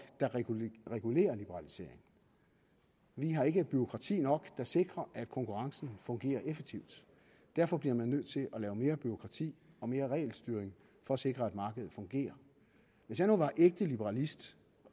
der regulerer liberalisering vi har ikke bureaukrati nok der sikrer at konkurrencen fungerer effektivt derfor bliver man nødt til at lave mere bureaukrati og mere regelstyring for at sikre at markedet fungerer hvis jeg nu var ægte liberalist